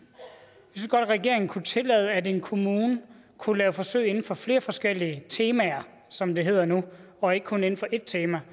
regeringen kunne tillade at en kommune kunne lave forsøg inden for flere forskellige temaer som det hedder nu og ikke kun inden for ét tema